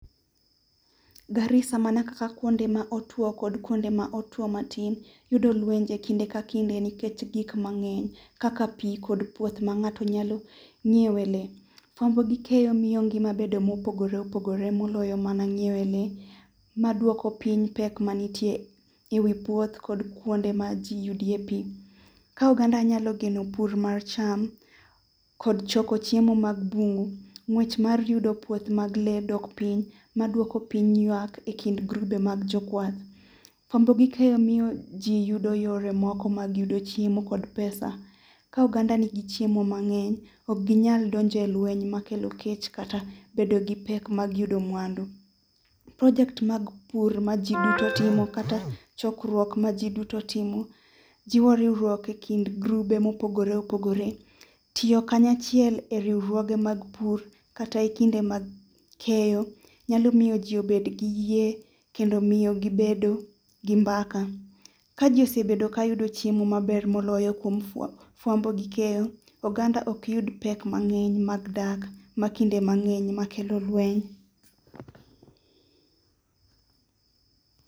Garisa mana kaka kuonde ma otuo kod kuonde ma otuo matin yudo lwenje kinde ka kinde nikech gik mang'eny kaka pi kod puoth ma ng'ato nyalo ng'iewe le. Fwambo gi keyo miyo ngima bedo mopogore opogore moloyo mana ng'iewe le. Maduoko piny pek manitie e wi puoth kod kuonde ma ji yudie pi. Ka oganda nyalo geno pur mar cham kod choko chiemo mag bungu, ng'wech mar yudo puith mag le dok piny. Maduoko piny ywak e kind grube mag jokwath. Fwambo gi keyo miyo ji yudo yore moko mag yudo chiemo kod pesa. Ka oganda nigi chiemo mang'eny ok ginyal donje lweny makelo kech kata bedo gi pek mag yudo mwandu. Project mag pur majiduto timo kata chokruok majiduto timo jiwo riwruok e kind grube mopogore opogore. Tiyo kanyachiel e riwruoge mag pur kata e kinde mag keyo nyalo miyo ji obed gi yie kendo miyo gi bedo gi mbaka. Ka ji osebedo ka yudo chiemo maber moloyo fwambo gi keyo oganda ok yud pek mang'eny mag dak makinde mang'eny makelo lweny .